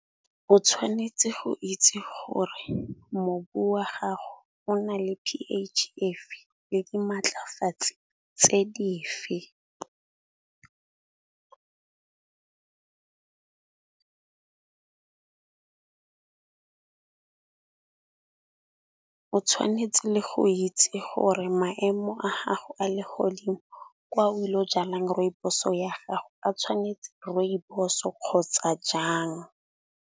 O tshwanetse go itse gore mobu wa gago o na le P_H e fe le di maatlafatse tse dife. O tshwanetse le go itse gore maemo a gago a le godimo kwa o ile go jala rooibos-o ya gago a tshwanetse rooibos-o kgotsa jang.